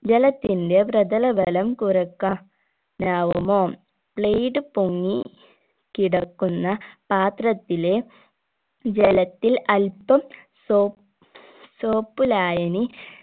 ജലത്തിന്റെ പ്രതലബലം കുറക്കാ നാവുമോ blade പൊങ്ങി കിടക്കുന്ന പാത്രത്തിലെ ജലത്തിൽ അൽപ്പം സൊ soap ലായനി